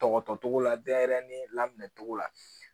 Dɔgɔtɔ cogo la denɲɛrɛnin lamɛncogo la